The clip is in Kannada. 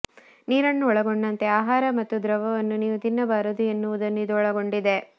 ನೀರನ್ನು ಒಳಗೊಂಡಂತೆ ಆಹಾರ ಮತ್ತು ದ್ರವವನ್ನು ನೀವು ತಿನ್ನಬಾರದು ಎನ್ನುವುದನ್ನು ಇದು ಒಳಗೊಂಡಿದೆ